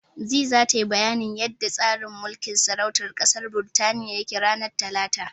Zee tayi bayanin yanda tsarin mulkin sarautar ƙasar Birtaniya yake, ranar Talata.